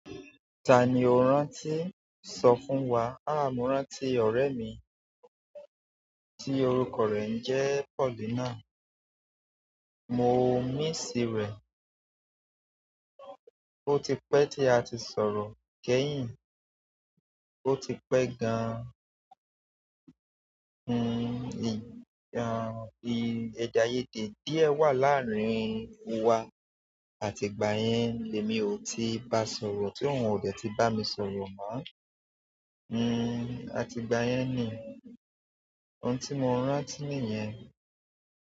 Ta ni o rán tí sọ fún wa? Háà, mo rán ti ọ̀rẹ́ mi tí orúkọ rẹ̀ ń jẹ́ Paulina. Mo n mií sí rẹ̀, ó ti pẹ́ tí a ti sọ̀rọ̀ kẹ́yìn, ó ti pẹ́ gan-an. Hmm, ìm, èdè aayede díẹ̀ wà láàárín wa àti gbà yẹn lè mi ò tí ba sọ̀rọ̀ tí òun ò dẹ̀ tí bá mi sọ̀rọ̀ mọ́. Hmm àti ìgbà yen ni ohun ti mo rántí niyen.